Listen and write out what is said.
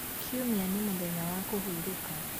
kiumia nĩ mũthenya wa kuhurũka